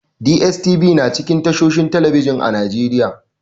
DSTV na cikin tashohin talbijin a Najeriya.